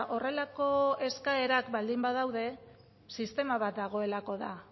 horrelako eskaerak baldin badaude sistema bat dagoelako da